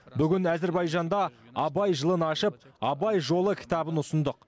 бүгін әзербайжанда абай жылын ашып абай жолы кітабын ұсындық